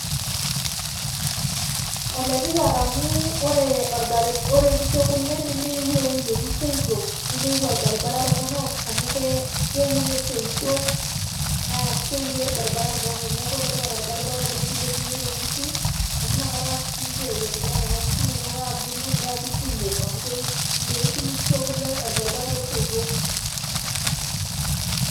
Oletipat amu ore nkishu ekule nemeyieu ewueji netii soitok, nemeyieu olbaribara torrono amu keure soitok naa keure olbaribara torrono, neeku oletipat olbaribara oleng' peilepunye toonkishu amu inakata siininche eiendelea nena kishu inonok aabulu neeku kumok amu meidimu nkishu ekule olbaribara loosoitok.